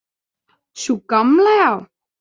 Sú gamla, já.